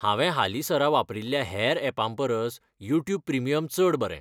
हांवें हालींसरा वापरिल्ल्या हेर यॅपांपरस यूट्यूब प्रिमियम चड बरें.